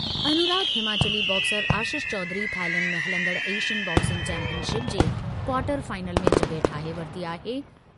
अनुराग Himachali boxer Ashish Chaudhary Thailand में हलंदड़ Asian boxing championship जे क्वार्टर फाइनल में जॻहि ठाहे वरिती आहे।